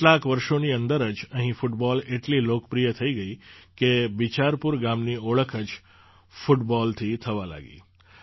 કેટલાંક વર્ષોની અંદર જ અહીં ફૂટબૉલ એટલી લોકપ્રિય થઈગઈ કે બિચારપુર ગામની ઓળખ જ ફૂટબૉલથી થવા લાગી